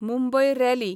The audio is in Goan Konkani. मुंबय रॅली